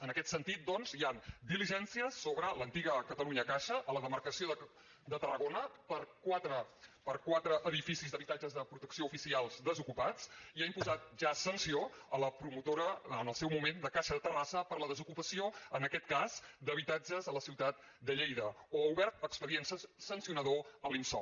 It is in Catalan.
en aquest sentit doncs hi han diligències sobre l’antiga catalunya caixa a la demarcació de tarragona per quatre edificis d’habitatges de protecció oficial desocupats i ha imposat ja sanció a la promotora en el seu moment de caixa de terrassa per la desocupació en aquest cas d’habitatges a la ciutat de lleida o ha obert expedient sancionador a l’impsol